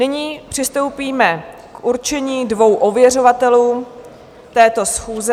Nyní přistoupíme k určení dvou ověřovatelů této schůze.